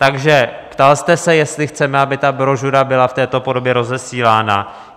Takže ptal jste se, jestli chceme, aby ta brožura byla v této podobě rozesílána.